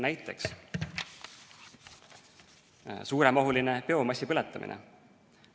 Näiteks, suuremahuline biomassi põletamine.